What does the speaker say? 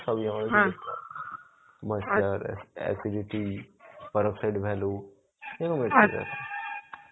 সবই আমাকে দেখতে হয়. acidity, per oxide value, এইরকম .